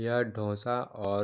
यह दोसा और--